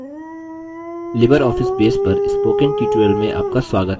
libreoffice base पर spoken tutorial में आपका स्वागत है